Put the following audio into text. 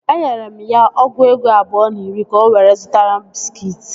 Enyere m ya ọgụ ego abụọ na iri ka o were zụta bịskit